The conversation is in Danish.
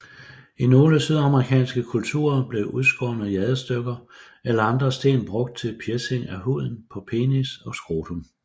I nogle sydamerikanske kulturer blev udskårne jadestykker eller andre sten brugt til piercing af huden på penis og scrotum